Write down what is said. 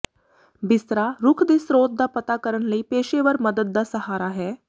ਬਿਸਤਰਾ ਰੁਖ ਦੇ ਸਰੋਤ ਦਾ ਪਤਾ ਕਰਨ ਲਈ ਪੇਸ਼ੇਵਰ ਮਦਦ ਦਾ ਸਹਾਰਾ ਹੈ